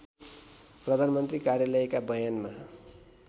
प्रधानमन्त्री कार्यालयका बयानमा